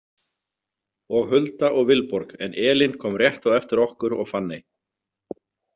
Og Hulda og Vilborg en Elín kom rétt á eftir okkur og Fanney.